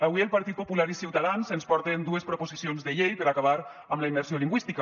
avui el partit popular i ciutadans ens porten dues proposicions de llei per acabar amb la immersió lingüística